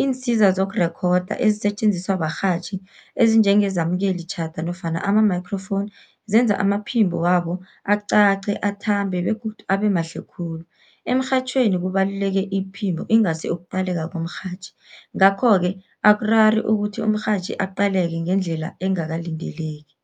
Iinsiza zokurekhoda ezisetjenziswa barhatjhi ezinjengezamkelitjhada nofana ama-microphone, zenza amaphimbo wabo acace, athambe begodu abe mahle khulu. Emrhatjhweni kubaluleke iphimbo ingasi ukuqaleka komrhatjhi, ngakho-ke akurari ukuthi umrhatjhi aqaleke ngendlela engakalindeleki.